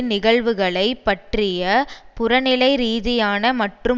நிகழ்வுகளை பற்றிய புறநிலை ரீதியான மற்றும்